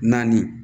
Naani